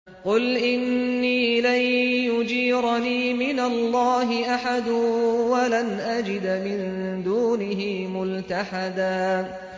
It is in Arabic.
قُلْ إِنِّي لَن يُجِيرَنِي مِنَ اللَّهِ أَحَدٌ وَلَنْ أَجِدَ مِن دُونِهِ مُلْتَحَدًا